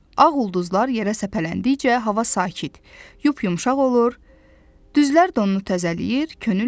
Ağ ulduzlar yerə səpələndikcə hava sakit, yup-yumşaq olur, düzlər donunu təzələyir, könül açılırdı.